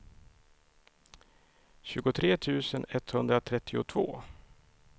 tjugotre tusen etthundratrettiotvå